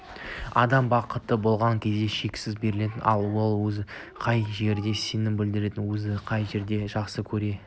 адам бақытты болған кезде шексіз беріледі ал ол өзіне қай жерде сенім білдіріп өзін қай жер жақсы көрсе